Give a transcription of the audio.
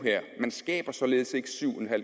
man skaber således ikke syv